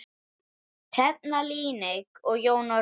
Hrefna Líneik og Jón Orri.